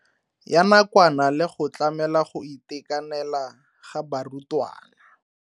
Ya nakwana le go tlamela go itekanela ga barutwana.